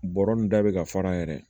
Bɔrɔ nun da bɛ ka fara a yɛrɛ ye